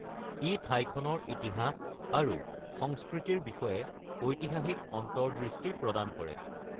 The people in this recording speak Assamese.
ই ঠাইখনৰ ইতিহাস আৰু সংস্কৃতিৰ বিষয়ে ঐতিহাসিক অন্তৰ্দৃষ্টি প্ৰদান কৰে।